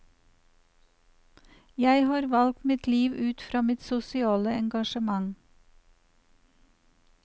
Jeg har valgt mitt liv ut fra mitt sosiale engasjement.